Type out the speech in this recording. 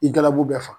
I galabu bɛɛ fa